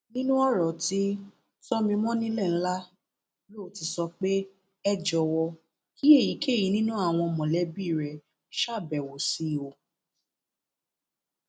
nínú ọrọ ti tòmimọnilẹlá ló ti sọ pé ẹ jọwọ kí èyíkéyìí nínú àwọn mọlẹbí rẹ ṣàbẹwò sí i o